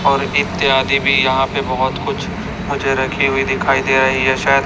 और इत्यादि भी यहाँ पे बहोत कुछ मुझे रखी हुई दिखाई दे रही है शायद --